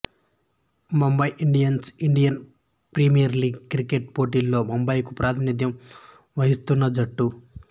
Mumbai Indians Indian Premier League cricket పోటీలలో ముంబైకు ప్రాతినిధ్యం వహిస్తున్న జట్టు